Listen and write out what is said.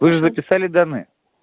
вы же записали данные